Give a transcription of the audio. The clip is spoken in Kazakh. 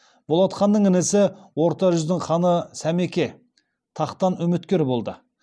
болат ханның інісі орта жүздің ханы сәмеке тақтан үміткер болды